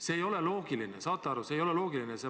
See ei ole loogiline, saate aru, see ei ole loogiline.